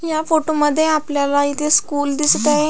ह्या फोटो मध्ये आपल्याला इथे स्कूल दिसत आहे.